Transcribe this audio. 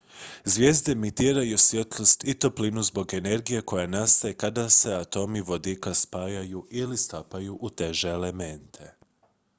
zvijezde emitiraju svjetlost i toplinu zbog energije koja nastaje kada se atomi vodika spajaju ili stapaju u teže elemente